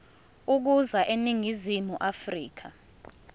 ukuza eningizimu afrika